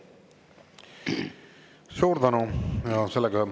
Suur tänu!